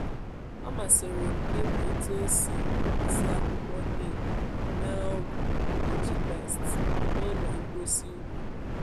ọ masịrị m ịmụ otu esi esi akwukwo neem mee ọgwụ mgbochi pests n’ụlọ ngosi ugbo.